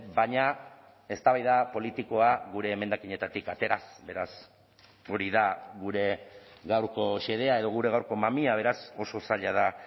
baina eztabaida politikoa gure emendakinetatik ateraz beraz hori da gure gaurko xedea edo gure gaurko mamia beraz oso zaila da